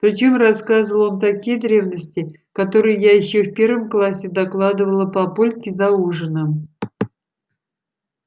причём рассказывал он такие древности которые я ещё в первом классе докладывала папульке за ужином